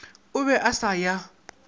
a be a sa ya